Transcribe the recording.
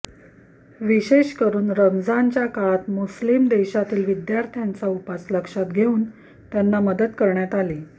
विशेष करून रमजानच्या काळात मुस्लीम देशातील विद्यार्थ्यांचा उपवास लक्षात घेऊन त्यांना मदत करण्यात आली